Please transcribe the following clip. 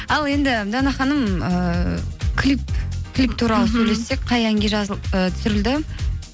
ал енді дана ханым ыыы клип клип туралы сөйлессек қай әнге і түсірілді